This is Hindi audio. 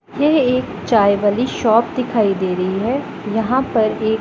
ये एक चाय वाली शॉप दिखाई दे रही है यहां पर ए--